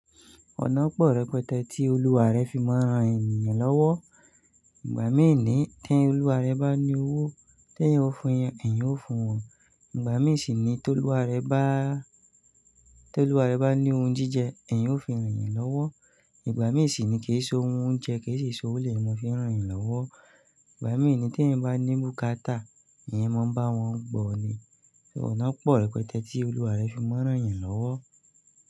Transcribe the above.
Ọ̀nà pọ̀ rẹpẹtẹ tí olúwa rẹ fi máa ń ran ènìyàn lọ́wọ́. Ìgbà míì ni tí ẹ́ olúwa rẹ bá ní owó, tí eeyan ó fún eeyan, eeyan ó fún wọn. Ìgbà míì sì ni tó olúwa rẹ bá, tó olúwa rẹ bá ní ohun jíjẹ, ẹ̀yin ó fi ràn eyan lọ́wọ́. Ìgbà míì sì ni kì so ohun oúnjẹ, kì sì so òwo, mo fi ń ràn eyan lọ́wọ́. Ìgbà míì ni tí ẹ̀yan bá ní bùkátà, ẹ̀yan máa ń bá wọn gbọ̀ ni. Ṣé ọ̀nà pọ̀ rẹpẹtẹ tí olúwa rẹ fi máa ń ràn yín lọ́wọ́?